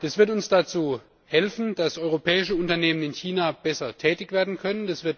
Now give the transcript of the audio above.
Das wird uns dazu helfen, dass europäische Unternehmen in China besser tätig werden können.